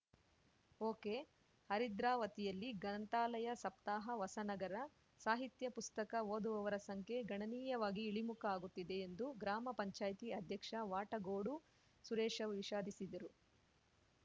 ಒಕೆಹರಿದ್ರಾವತಿಯಲ್ಲಿ ಗ್ರಂಥಾಲಯ ಸಪ್ತಾಹ ಹೊಸನಗರ ಸಾಹಿತ್ಯ ಪುಸ್ತಕ ಓದುವವರ ಸಂಖ್ಯೆ ಗಣನೀಯವಾಗಿ ಇಳಿಮುಖ ಆಗುತ್ತಿದೆ ಎಂದು ಗ್ರಾಮ ಪಂಚಾಯ್ತಿ ಅಧ್ಯಕ್ಷ ವಾಟಗೋಡು ಸುರೇಶ ವಿಷಾದಿಸಿದರು